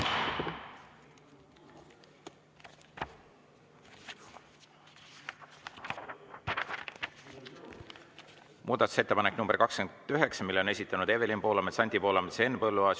Muudatusettepaneku nr 29 on esitanud Evelin Poolamets, Anti Poolamets ja Henn Põlluaas.